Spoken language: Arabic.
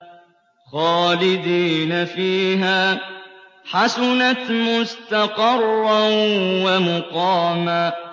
خَالِدِينَ فِيهَا ۚ حَسُنَتْ مُسْتَقَرًّا وَمُقَامًا